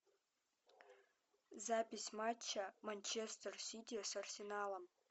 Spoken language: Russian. запись матча манчестер сити с арсеналом